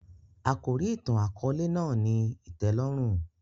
Àkòrí ìtàn-àkóòlè náà ni ìtẹ́lórùn